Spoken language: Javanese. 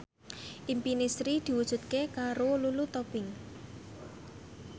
impine Sri diwujudke karo Lulu Tobing